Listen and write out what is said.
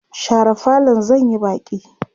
share falon zan Yi Baki!